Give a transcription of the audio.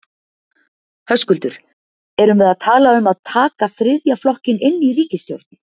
Höskuldur: Erum við að tala um að taka þriðja flokkinn inn í ríkisstjórn?